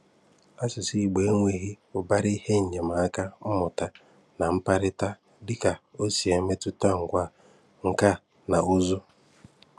Asụ̀sụ́ Ìgbò enweghí ùbàrá ihe enyèmàka mmụ̀tà na mkpárịta, dị́ka o si métùtà ngwa nka na ùzù́.